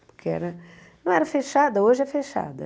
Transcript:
Porque era não era fechada, hoje é fechada.